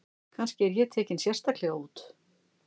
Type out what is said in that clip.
Kannski er ég tekinn sérstaklega út.